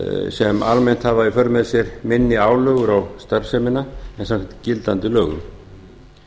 sem almennt hafa í för með sér minni álögur á starfsemina en samkvæmt gildandi lögum